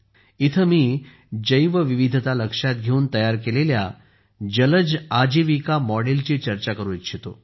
येथे मी जैवविविधता लक्षात घेऊन तयार केलेल्या जलचर आजीविका मॉडेल ची चर्चा करू इच्छितो